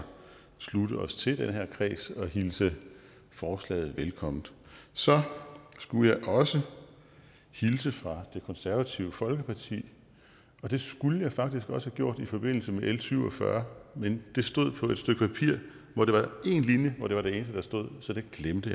slutte os til den her kreds og hilse forslaget velkommen så skulle jeg også hilse fra det konservative folkeparti og det skulle jeg faktisk også have gjort i forbindelse med l syv og fyrre men det stod på et stykke papir hvor det var én linje og det var det eneste der stod så det glemte